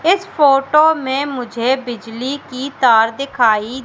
इस फोटो में मुझे बिजली की तार दिखाई--